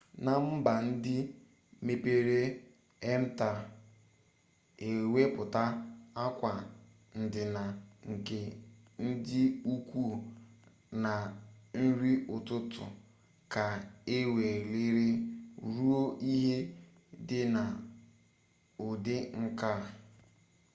na mba ndi mepere-emep taa iweputa akwa-ndina nke ndi-ukwu na nri-ututu ka eweliri ruo ihe di na udi-nka